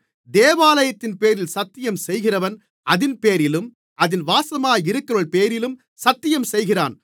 தேவாலயத்தின்பேரில் சத்தியம்செய்கிறவன் அதின்பேரிலும் அதில் வாசமாயிருக்கிறவர்பேரிலும் சத்தியம்செய்கிறான்